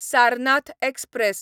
Sarnath express